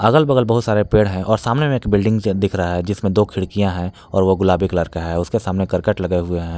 अगल बगल बहुत सारे पेड़ हैं और सामने में एक बिल्डिंग से दिख रहा है जिसमें दो खिड़कियां हैं और वो गुलाबी कलर का है उसके सामने करकट लगे हुए हैं।